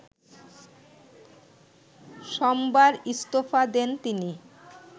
সোমবার ইস্তফা দেন তিনি